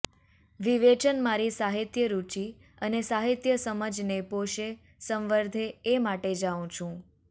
વિવેચન મારી સાહિત્યરુચિ અને સાહિત્યસમજને પોષે સંવર્ધે એ માટે જાઉં છું